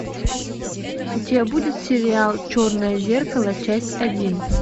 у тебя будет сериал черное зеркало часть один